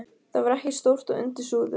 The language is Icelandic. Það var ekki stórt og undir súðum.